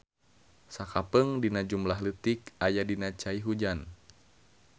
Sakapeung dina jumlah leutik aya dina cai hujan.